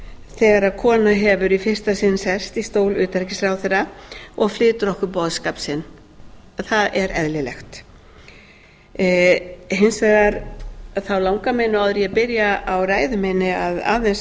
þegar kona hefur í fyrsta sinn sest í stól utanríkisráðherra og flytur okkur boðskap sinn það er eðlilegt hins vegar langar mig nú áður en ég byrja á ræðu minni aðeins